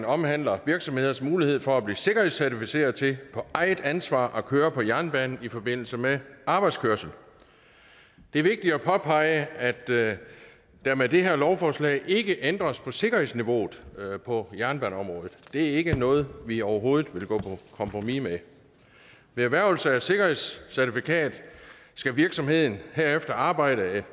omhandler virksomheders mulighed for at blive sikkerhedscertificeret til på eget ansvar at køre på jernbanen i forbindelse med arbejdskørsel det er vigtigt at påpege at der med det her lovforslag ikke ændres på sikkerhedsniveauet på jernbaneområdet det er ikke noget vi overhovedet vil gå på kompromis med ved erhvervelse af sikkerhedscertifikat skal virksomheden herefter arbejde